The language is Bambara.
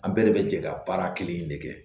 An bɛɛ de bɛ jɛ ka baara kelen in de kɛ